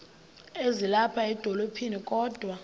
ezilapha edolophini kodwa